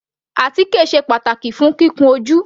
Àtíkè sé pàtàkì fún kíkun ojú.